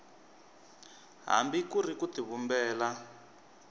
hambi ku ri ku tivumbela